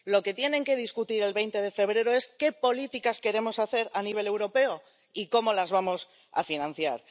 Lo que tienen que discutir el 20 de febrero es qué políticas queremos hacer a nivel europeo y cómo las vamos a financiar.